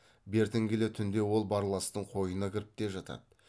бертін келе түнде ол барластың қойнына кіріп те жатады